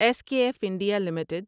S K F India limited